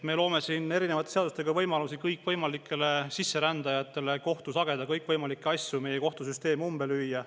Me loome siin erinevate seadustega kõikvõimalikele sisserändajatele võimalusi kohtus hageda kõikvõimalikke asju, meie kohtusüsteem umbe lüüa.